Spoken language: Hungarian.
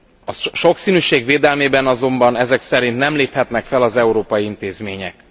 A sokszínűség védelmében azonban ezek szerint nem léphetnek fel az európai intézmények.